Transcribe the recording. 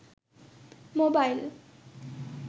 mobile